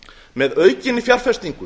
með aukinni fjárfestingu